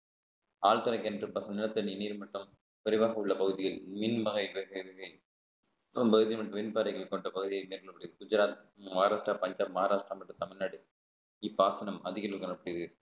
ஆழ்துளை கிணற்று பாசனம் நிலத்தடி நீர் மட்டம் குறைவாக உள்ள பகுதியில் மின் வகைகள் மின் பாறைகள் கொண்ட பகுதி மேற்கொள்ளப்படுகிறது குஜராத் மகாராஷ்டிரா மஹாராஷ்டிரா மற்றும் தமிழ்நாடு இப்பாசனம் அதிக அளவில் காணப்படுகிறது